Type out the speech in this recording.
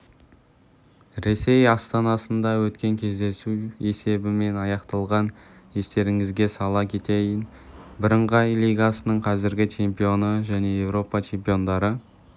ресей астанасында өткен кездесу есебімен аяқталған естеріңізге сала кетейін бірыңғай лигасының қазіргі чемпионы және еуропа чемпиондары